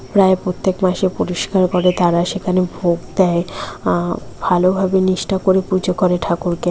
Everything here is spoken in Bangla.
প্রায় প্রত্যেক মাসে পরিষ্কার করে। তারা সেখানে ভোগ দেয়। আ ভালোভাবে নিষ্ঠা করে পূজা ঠাকুরকে।